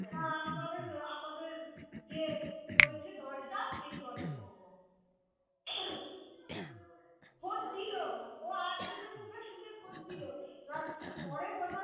যেই রয়েছে দলটা সেই দলে হম খোঁজ দিল ও আর একজনের মুখে শুনে খোঁজ দিল। এবার পরে বোঝা